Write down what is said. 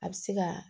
A bɛ se ka